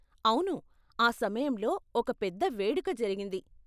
అవును, ఆ సమయంలో ఒక పెద్ద వేడుక జరిగింది.